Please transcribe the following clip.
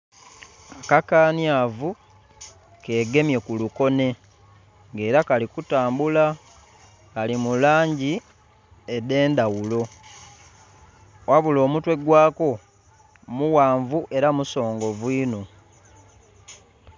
Akakanhyavu kegemye ku lukonhe nga era kali kutambula kali mu langi edendhagulo ghabula omutwe gwa ko mughanvu era musongovu inho.